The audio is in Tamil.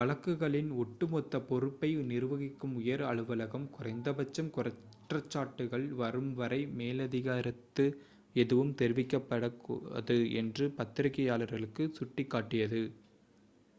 வழக்குகளின் ஒட்டுமொத்த பொறுப்பை நிர்வகிக்கும் உயர் அலுவலகம் குறைந்தபட்சம் குற்றச்சாட்டுகள் வரும்வரை மேலதிக கருத்து எதுவும் தெரிவிக்கப்படாது என்று பத்திரிகையாளர்களுக்குச் சுட்டிக்காட்டியது